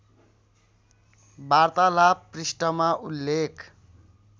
वार्तालाप पृष्ठमा उल्लेख